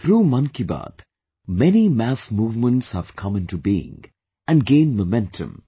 Through 'Mann Ki Baat', many mass movements have come into being and gained momentum